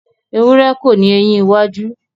Ewurẹ́ kò ni eyín iwájú